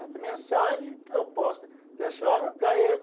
A mensagem que eu posso deixar para eles